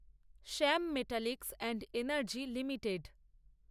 Shyam metalics and energy limited